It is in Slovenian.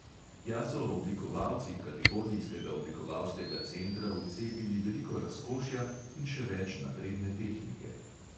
Tja so oblikovalci kalifornijskega oblikovalskega centra vcepili veliko razkošja in še več napredne tehnike.